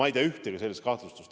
Ma ei tea ühtegi sellist kahtlustust.